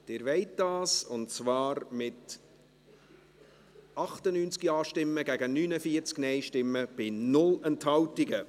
Sie wollen dies, und zwar mit 98 Ja- gegen 49 Nein-Stimmen bei 0 Enthaltungen.